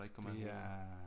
Så der ikke kommer alt muligt